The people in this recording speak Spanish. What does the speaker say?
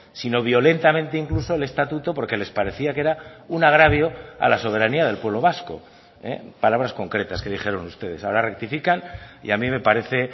sino violentamente incluso el estatuto porque les parecía que era un agravio a la soberanía del pueblo vasco palabras concretas que dijeron ustedes ahora rectifican y a mí me parece